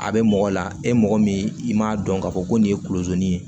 A bɛ mɔgɔ la e mɔgɔ min i m'a dɔn k'a fɔ ko nin ye kunlozin ye